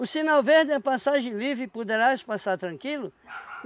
O sinal verde é a passagem livre, poderás passar tranquilo?